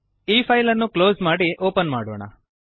ಈ ಫೈಲ್ ಅನ್ನು ಕ್ಲೋಸ್ ಮಾಡಿ ಓಪನ್ ಮಾಡೋಣ